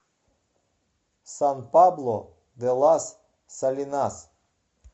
сан пабло де лас салинас